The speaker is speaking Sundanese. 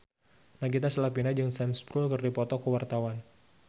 Nagita Slavina jeung Sam Spruell keur dipoto ku wartawan